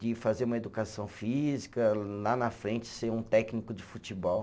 De fazer uma educação física, lá na frente ser um técnico de futebol.